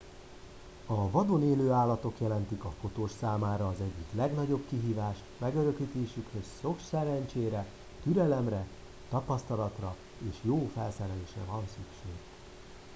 a vadon élő állatok jelentik a fotós számára az egyik legnagyobb kihívást megörökítésükhöz sok szerencsére türelemre tapasztalatra és jó felszerelésre van szükség